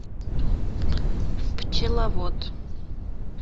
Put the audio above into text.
пчеловод